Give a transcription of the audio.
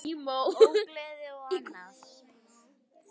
Ógleði og annað.